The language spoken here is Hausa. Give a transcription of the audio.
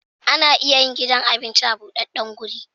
Ana iya yin gidan abinci a budaddan guri